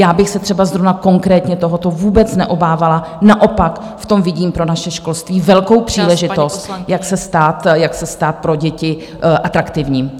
Já bych se třeba zrovna konkrétně tohoto vůbec neobávala, naopak v tom vidím pro naše školství velkou příležitost , jak se stát pro děti atraktivní.